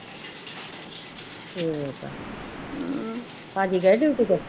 ਠੀਕ ਹੈ ਭਾਜੀ ਗਏ ਡਿਊਟੀ ਤੇ